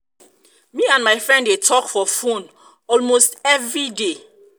me and my friend dey talk for phone phone almost every day